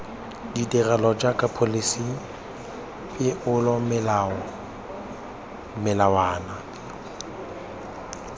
ditirelo jaaka pholisi peomolao melawana